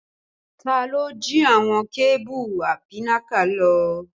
Ta ló jí àwọn kébù apínnáká lọ?